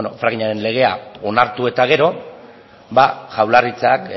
frackingaren legea onartu eta gero ba jaurlaritzak